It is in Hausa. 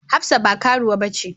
Hafsat ba karuwa bace.